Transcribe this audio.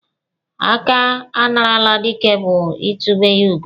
Aka a narala dike bụ itube ya ugo.